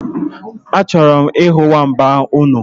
Achọrọ m ihu nwamba unu